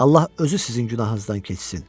Allah özü sizin günahınızdan keçsin.